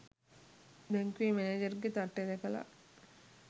බැංකුවෙ මැනේජර්ගෙ තට්ටෙ දැකලා